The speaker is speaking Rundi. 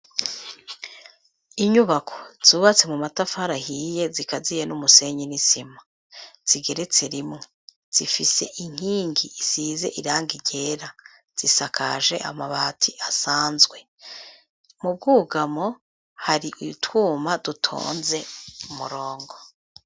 Inyubako zubatse mu matafari ahiye zikaziye n'umusenyi n'isima, zigeretse rimwe, zifise inkingi isize irangi ryera, zisakaje amabati asanzwe, mu bwugamwo hariyo utwuma dutonze umurongo.